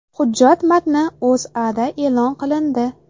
Hujjat matni O‘zAda e’lon qilindi .